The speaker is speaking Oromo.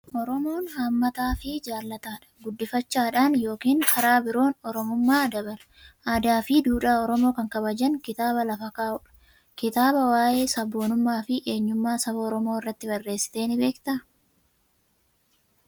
Oromoon haammataa fi jaalataadha. Guddifachaadhaan yookiin karaa biroon Oromummaa dabala. Aadaa fi duudhaa Oromoo kan kabajan kitaaba lafa kka'u dha. Ati kitaabaa waa'ee sabboonummaa fi eenyummaa saba Oromoo irratti barreessitee ni beektaa?